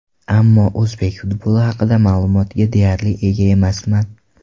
Ammo o‘zbek futboli haqida ma’lumotga deyarli ega emasman.